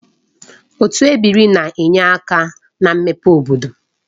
Otu ebiri na-enye aka na mmepe obodo